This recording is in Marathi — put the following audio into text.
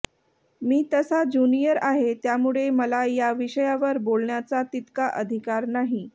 मी तसा ज्युनियर आहे त्यामुळे मला या विषयावर बोलण्याचा तितका अधिकार नाही